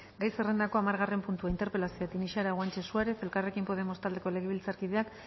gai zerrendako hamargarren puntua interpelazioa tinixara guanche suárez elkarrekin podemos taldeko legebiltzarkideak